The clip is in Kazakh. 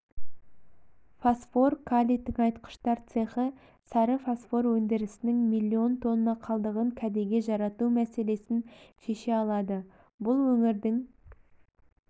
фосфор-калий тыңайтқыштар цехы сары фосфор өндірісінің миллион тонна қалдығын кәдеге жарату мәселесін шеше алады бұл өңірдің